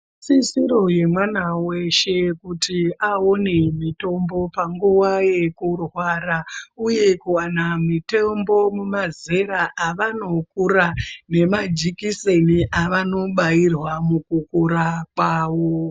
Isisiro yemwana weshe kuti awone mutombo nguwa yekurwara uye kuwana mitombo mumazera avanokura nemajikiseni avanobairwa mukukura kwawo.